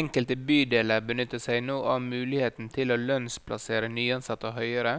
Enkelte bydeler benytter seg nå av muligheten til å lønnsplassere nyansatte høyere,